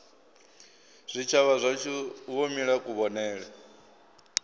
zwitshavha zwashu wo mila kuvhonele